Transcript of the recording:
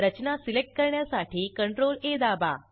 रचना select करण्यासाठी CTRLA दाबा